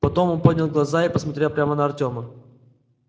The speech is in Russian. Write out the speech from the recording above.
потом он поднял глаза и посмотрел прямо на артема